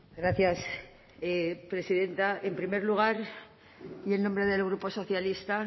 gracias presidenta en primer lugar y en nombre del grupo socialista